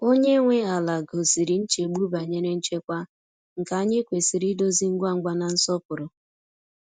Onye nwe ala gosiri nchegbu banyere nchekwa, nke anyị kwesịrị idozi ngwa ngwa na nsọpụrụ.